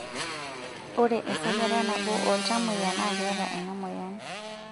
Ore esajata nabo ooltamoyia naa keeta ena moyian.